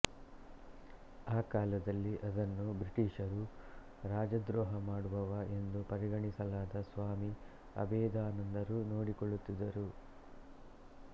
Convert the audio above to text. ಆ ಕಾಲದಲ್ಲಿ ಅದನ್ನು ಬ್ರಿಟಿಶರು ರಾಜದ್ರೋಹ ಮಾಡುವವ ಎಂದು ಪರಿಗಣಿಸಲಾದ ಸ್ವಾಮಿ ಅಭೇದಾನಂದರು ನೋಡಿಕೊಳ್ಳುತ್ತಿದ್ದರು